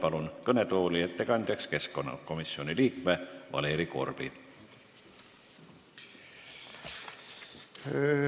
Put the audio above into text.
Palun kõnetooli ettekandjaks keskkonnakomisjoni liikme Valeri Korbi!